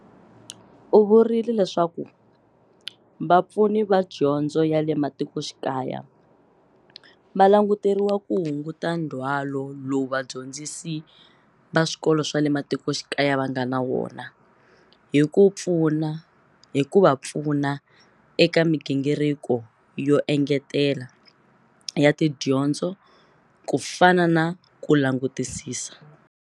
U vurile leswaku Vapfuni va Dyondzo ya le Matikoxikaya va languteriwa ku hunguta ndzhwalo lowu vadyondzi si va swikolo va le matiko xikaya va nga na wona hi ku va pfuna eka migingiriko yo engetela ya tidyondzo ku fana na ku langutisisa